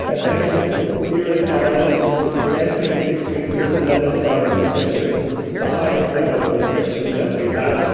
Madam President, here in Ireland we're entering six weeks of Level 5 restrictions, the highest level of restrictions that we have.